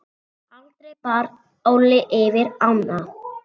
Aldrei bar Óli yfir ána.